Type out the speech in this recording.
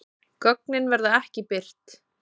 Gögnin verða ekki birt